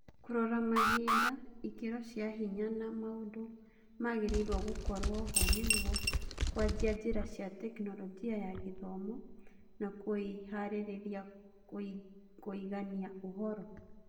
Kũrora mahinda, ikĩro cia hinya na maũndũ magĩrĩirwo gũkorwoho nĩguo kũanjia njĩra cia Tekinoronjĩ ya Gĩthomo na kũĩharĩria kũũngania ũhoro.